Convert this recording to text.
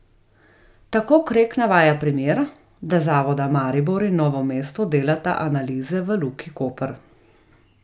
Tako Krek navaja primer, da zavoda Maribor in Novo mesto delata analize v Luki Koper.